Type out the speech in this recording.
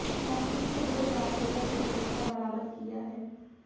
मौके से दो गाय एवं एक बछडा बरामद किया है